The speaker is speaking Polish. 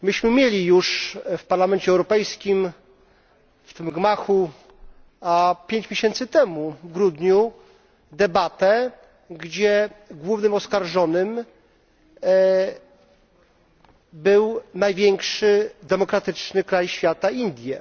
Mieliśmy już w Parlamencie Europejskim, w tym gmachu, pięć miesięcy temu, w grudniu, debatę, gdzie głównym oskarżonym był największy demokratyczny kraj świata Indie.